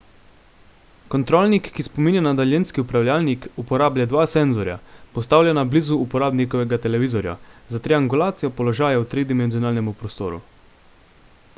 kontrolnik ki spominja na daljinski upravljalnik uporablja dva senzorja postavljena blizu uporabnikovega televizorja za triangulacijo položaja v tridimenzionalnem prostoru